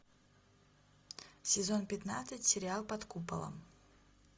сезон пятнадцать сериал под куполом